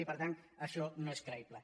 i per tant això no és creïble